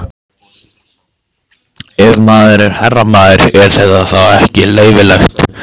Ef maður er herramaður, er þetta þá ekki leyfilegt?